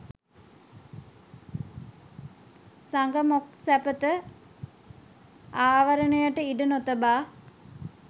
සග මොක් සැපත ආවරණයට ඉඩ නොතබා